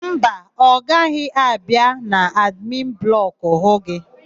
Mba, ọ gaghị abịa n'admin blọkụ hụ gị.